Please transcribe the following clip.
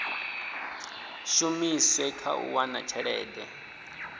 shumiswe kha u wana tshelede